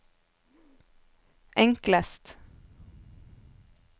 enklest